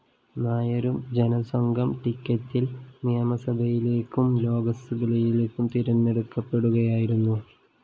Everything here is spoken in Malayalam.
നായരും ജനസംഘം ടിക്കറ്റില്‍ നിയമസഭയിലേക്കും ലോക്സഭയിലേക്കും തിരഞ്ഞെടുക്കപ്പെടുകയായിരുന്നു